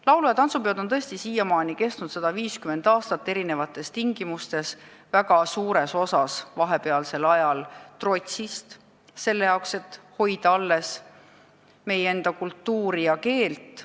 Laulu- ja tantsupeod on tõesti siiamaani kestnud 150 aastat erinevates tingimustes, väga suures osas vahepealsel ajal trotsist, selle jaoks, et hoida alles meie enda kultuuri ja keelt.